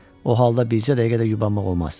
O halda bircə dəqiqə də yubanmaq olmaz.